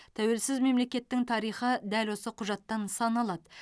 тәуелсіз мемлекеттің тарихы дәл осы құжаттан саналады